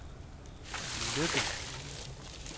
Løkken